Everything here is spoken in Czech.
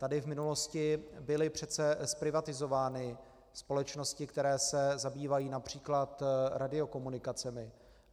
Tady v minulosti byly přece zprivatizovány společnosti, které se zabývají například radiokomunikacemi.